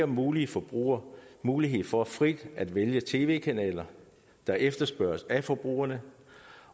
mulige forbrugere mulighed for frit at vælge tv kanaler der efterspørges af forbrugerne